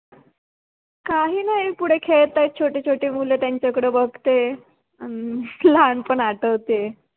काही नाही पुढे खेळत आहेत छोटे छोटे मुल त्यांच्याकडे बघते. अन लहान पण आठवते